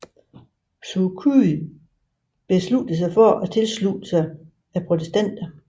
Suu Kyi besluttede sig for at tilslutte sig til protesterne